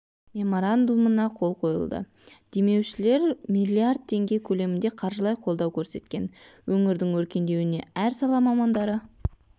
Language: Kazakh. меморандумына қол қойылды демеушілер миллиард теңге көлемінде қаржылай қолдау көрсеткен өңірдің өркендеуіне әр сала мамандары